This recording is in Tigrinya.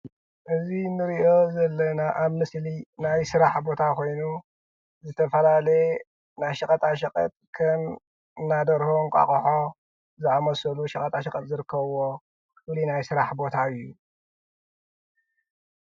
እዚ እንሪኦ ዘለና አብ ምስሊ ናይ ስራሕ ቦታ ኮይኑ፤ ዝተፈላለየ ናይ ሸቀጣ ሸቀጥ ከም እንዳ ደርሆ፣ እንቋቁሖ ዝአመሰሉ ሸቀጣ ሸቀጥ ዝርከብዎ ፍሉይ ናይ ስራሕ ቦታ እዩ፡፡